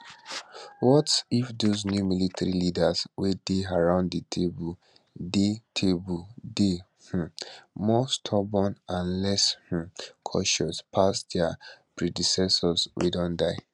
what if dose new military leaders wey dey round di table dey table dey um more stubborn and less um cautious pass dia predecessors wey don die